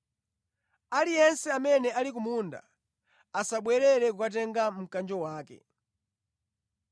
Aliyense amene ali ku munda asabwerere kukatenga mkanjo wake.